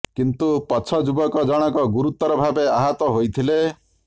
କିନ୍ତୁ ପଛ ଯୁବକ ଜଣକ ଗୁରୁତର ଭାବେ ଆହତ ହୋଇଥିଲେ